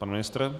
Pan ministr?